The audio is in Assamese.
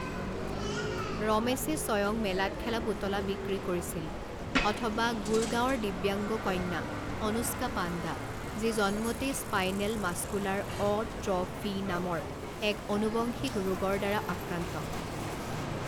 ৰমেশে স্বয়ং মেলাত খেলা পুতলা বিক্ৰী কৰিছিল অথবা গুড়গাঁৱৰ দিব্যাংগ কন্যা অনুষ্কা পাণ্ডা, যি জন্মতেই spinal muscular atrophy নামৰ এক অনুবংশিক ৰোগৰ দ্বাৰা আক্ৰান্ত।